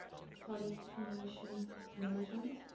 pollination management